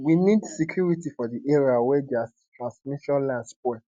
we need security for di area wia di transmission line spoil